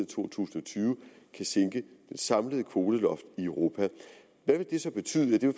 to tusind og tyve kan sænke det samlede kvoteloft i europa hvad vil det så betyde ja det